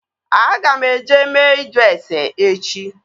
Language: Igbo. Aga m eje mee ịjụ ase echi